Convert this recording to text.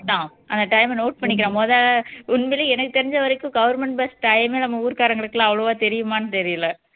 தான் அந்த time அ note பண்ணிக் மொத உண்மையிலயே எனக்கு தெரிஞ்ச வரைக்கும் government bus time ஏ நம்ம ஊர்காரங்களுக்கு அவ்வளவா தெரியுமான்னு தெரியல